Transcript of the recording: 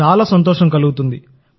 చాలా సంతోషం కలుగుతుంది